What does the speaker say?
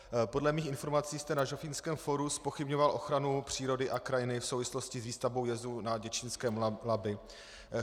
Podle mých informací jste na Žofínském fóru zpochybňoval ochranu přírody a krajiny v souvislosti s výstavbou jezu na děčínském Labi.